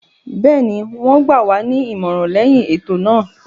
Bẹ́ẹ̀ni, wọ́n gbà wá ní ìmọ̀ràn lẹyìn ètò náà.